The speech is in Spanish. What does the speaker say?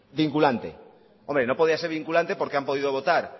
vinculante hombre no podía ser vinculante porque han podido votar